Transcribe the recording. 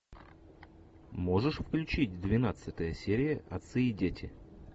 можешь включить двенадцатая серия отцы и дети